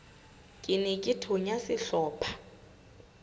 ke ne ke thonya sehlopha